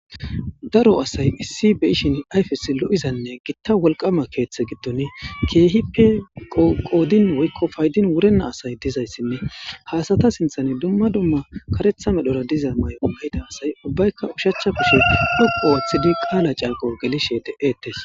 daro asay issi beyishin ayfes lo7izanne gitta wolqama keeththe gidon keehippe qoodin woykko paydin wurenna asay dizayssinne haasata sinthan dumma dumma karetha medhora diza may7o ahida asay ubbaykka ushachcha bishe huqo waththidi qaala canqo gelishe de7ettes